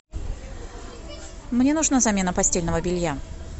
мне нужна замена постельного белья